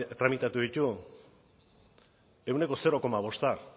tramitatu ditu ehuneko zero koma bost